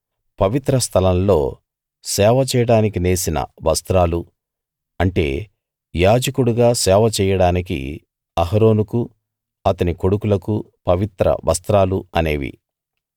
పవిత్ర స్థలం లో సేవ చేయడానికి నేసిన వస్త్రాలు అంటే యాజకుడుగా సేవ చెయ్యడానికి అహరోనుకు అతని కొడుకులకూ పవిత్ర వస్త్రాలు అనేవి